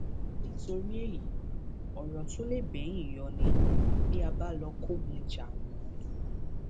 nítorí èyí ọrọ tó lè bẹyìn yọ ni bí a báà lọọ kógun jà wọn